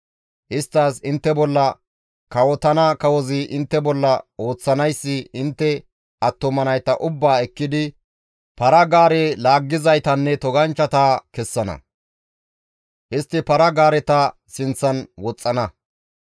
Isttas, «Intte bolla kawotana kawozi intte bolla ooththanayssi intte attuma nayta ubbaa ekkidi para-gaare laaggizaytanne toganchchata kessana; istti para-gaareta sinththan woxxana.